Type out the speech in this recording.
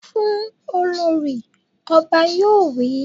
Fún Olorì! Ọba yóò wí.